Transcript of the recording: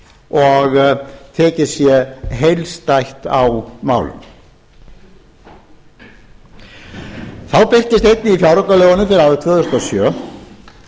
og tekið sé heildstætt á málum þá birtist einnig í fjáraukalögunum fyrir árið tvö þúsund og sjö sem við nú